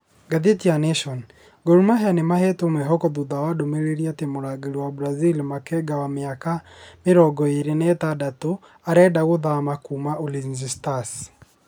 (Daily Nation) Gormahia nĩmahetwo mwĩhoko thutha wa ndũmĩrĩrĩ atĩ mũrangĩri wa Brazĩl Makenga wa mĩaka mĩrongo ĩrĩ na ĩtandatũ arenda gũthama kuma Ulinzi stars